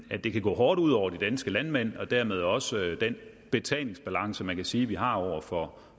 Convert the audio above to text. at det kan gå hårdt ud over de danske landmænd og dermed også den betalingsbalance man kan sige at vi har over for